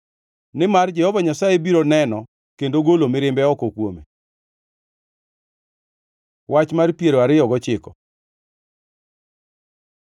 nimar Jehova Nyasaye biro neno kendo golo mirimbe oko kuome. Wach mar piero ariyo gochiko